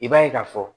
I b'a ye k'a fɔ